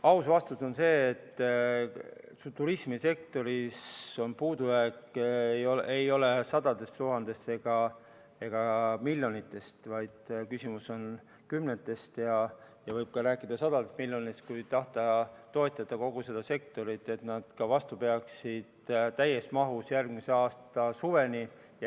Aus vastus on see, et turismisektoris ei ole puudujääk sadades tuhandetes ega miljonites, vaid küsimus on kümnetes miljonites ja võib rääkida ka sadadest miljonitest, kui tahta toetada kogu seda sektorit, et nad peaksid vastu täies mahus järgmise aasta suveni.